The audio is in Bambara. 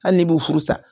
Hali n'i b'u furu sa